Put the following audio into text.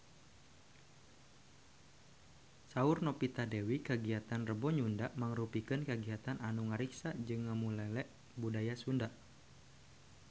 Saur Novita Dewi kagiatan Rebo Nyunda mangrupikeun kagiatan anu ngariksa jeung ngamumule budaya Sunda